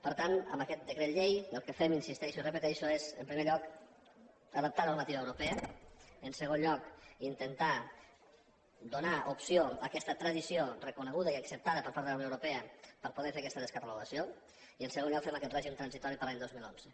per tant amb aquest decret llei el que fem hi insisteixo i ho repeteixo és en primer lloc adoptar normativa europea en segon lloc intentar donar opció a aquesta tradició reconeguda i acceptada per part de la unió europea per poder fer aquesta descatalogació i en tercer lloc fem aquest règim transitori per a l’any dos mil onze